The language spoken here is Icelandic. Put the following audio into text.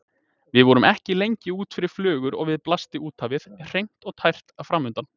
Við vorum ekki lengi út fyrir flögur og við blasti úthafið, hreint og tært, framundan.